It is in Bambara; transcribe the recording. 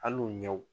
Hali u ɲɛw